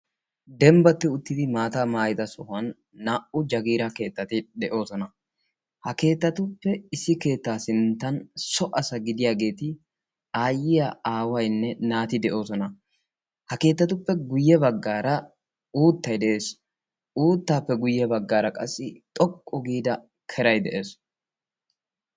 Dembbatti uttidi maataa maayida sohuwan naa"u jagiiraa keettati de'oosona. Ha keettatuppe issi keettaa sinttan so asa gidiyaageeti aayyiyaa aawaynne naati de'oosona. Ha keettatuppe guyye baggaara uuttay de'ees. Uuttaappe guyye baggaara qassi xoqqu giida keray de'ees.